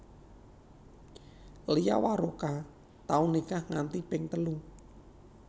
Lia Waroka tau nikah nganti ping telu